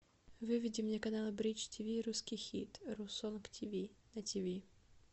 выведи мне канал бридж тиви русский хит русонг тиви на тиви